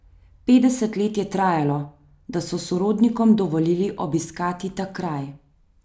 Petdeset let je trajalo, da so sorodnikom dovolili obiskati ta kraj.